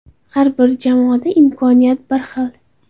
Har bir jamoada imkoniyat bir xil.